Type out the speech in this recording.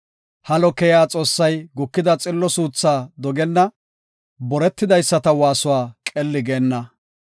Halo keyiya Xoossay gukida xillo suuthaa dogenna; boretidaysata waasuwa qelli geenna.